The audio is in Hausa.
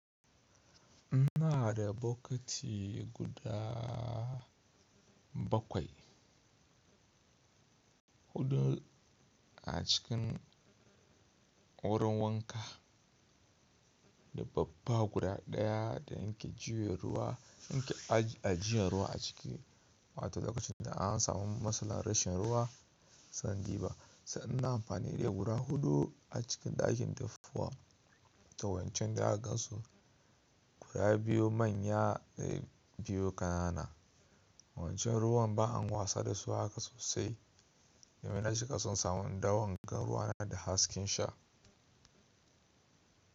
Ina da bokiti guda bakwai, huɗu a cikin wurin wanka da babba guda ɗaya da in ke ajiye ruwa a ciki. Wato lokacin da an samu matsalar rashin ruwa, sai in duba, sai ina amfani da guda huɗu a cikin ɗakin tafuwa da wancan da aka gan su. Guda biyu manya sai biyu ƙanana. Wancan ruwan ba an wasa da su haka sosai domin a cika sun samu dawo in ga ruwa na da hasken sha.